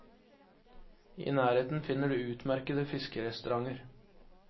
I nærheten finner du utmerkete fiskerestauranter.